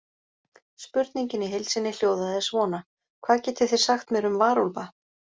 Spurningin í heild sinni hljóðaði svona: Hvað getið þið sagt mér um varúlfa?